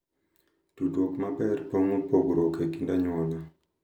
Tudruok maber pong’o pogruok e kind anyuola,